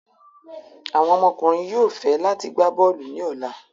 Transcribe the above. Awọn ọmọkunrin yóò fẹ lati gba bọọlu ni ọla